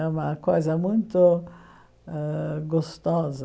É uma coisa muito ãh gostosa.